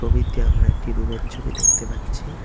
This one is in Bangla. ছবিতে আমরা একটি রুমের ছবি দেখতে পাচ্ছি।